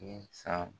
Ni san